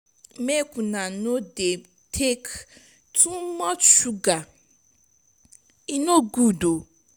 make una no dey take too much sugar e no good.